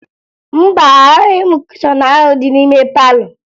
Mba, ahụghị m kushọn ahụ dị n'ime palọ